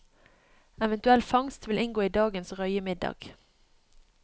Eventuell fangst vil inngå i dagens røyemiddag.